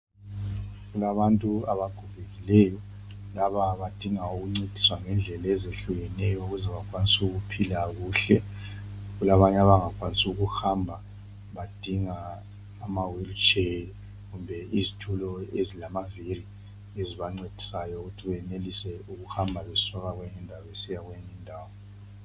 Kulabantu abagogekileyo laba badinga ukuncediswa ngendlela ezehlukeneyo ukuze bakwanise ukuphila kuhle kulabanye abangakwanisi ukuhamba badinga ama wheel chair kumbe izitulo ezilamaviri ezibancedisayo ukuthi benelise ukuhamba besuka kwenye indawo besiya kweyinye indawo.